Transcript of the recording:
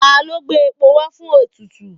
Ta ló gbé epo wá fún ètùtù?